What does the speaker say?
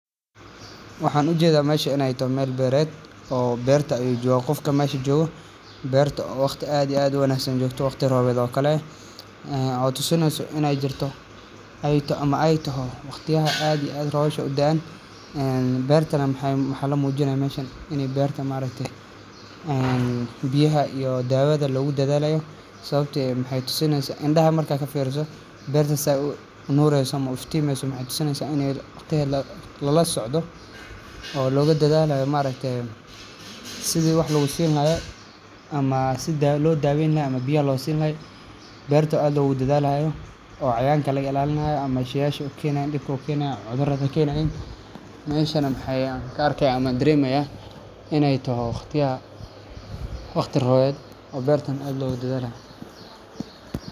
Waxaan u jeedaa mashi inay to meel beret oo beerta joog. Qofka maashi jooga beerta waqti aad iyo aad wanaagsan joogto waqti roobeeda oo kale caawito suna inay jirto ayto ama ay toho waqti aha aad iyo aad roshah u daan beerta maxay muujinaysan inay bearta ma reetay biyaha iyo daawada lagu dadaalayo sababtoo ah maxay tusinaysan indhaha markaa ka fiirso beertas nuur ah iyo 50 mii su maxay tusinaysan inay waqti la la socdo oo looga dadaalayo ma reetay sida wax lagu siinayo ama si loo daaweynayo ama biyo loo siinay beerta aad ugu dadaalaya oo cayaanka lagalaalnaa ama shiishe keenay in dhibcoo keenay cudurado keenayn meesha maxay kaarkay ama dirimaya inay toho waqtiya waqti roobed iyo beertan adoo u dadaalayo.